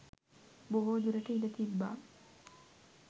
බොහෝදුරට ඉඩ තිබ්බා.